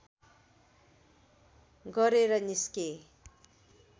गरेर निस्के